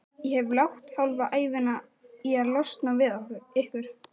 Ég hef lagt hálfa ævina í að losna við ykkur.